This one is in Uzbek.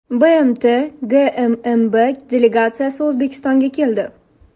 BMT GMMB delegatsiyasi O‘zbekistonga keldi.